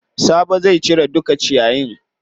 Sabo zai cire duka ciyayin.